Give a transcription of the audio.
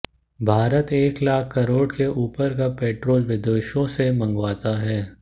भारत एक लाख करोड़ से ऊपर का पेट्रोल विदेशों से मंगवाता है